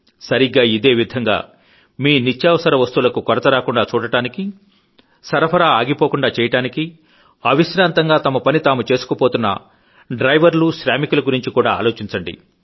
సరిగ్గా ఇదే విధంగా మీ నిత్యావసర వస్తువులకు కొరత రాకుండా చూడడానికి సరఫరా ఆగిపోకుండా చేయడానికీ అవిశ్రాంతంగా తమపని తాము చేసుకుపోతున్న డ్రైవర్లు శ్రామికుల గురించి కూడా ఆలోచించండి